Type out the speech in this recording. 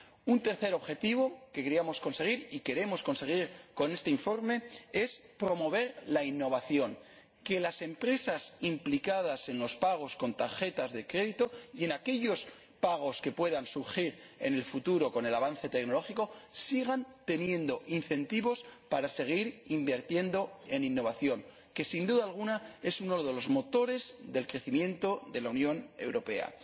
Un tercer objetivo que queríamos conseguir y queremos conseguir con este informe es promover la innovación que las empresas implicadas en los pagos con tarjetas de crédito y en aquellos pagos que puedan surgir en el futuro con el avance tecnológico sigan teniendo incentivos para seguir invirtiendo en innovación —que, sin duda alguna, es uno de los motores del crecimiento de la Unión Europea—.